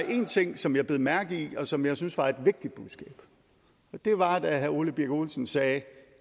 én ting som jeg bed mærke i og som jeg synes var et vigtigt budskab og det var da herre ole birk olesen sagde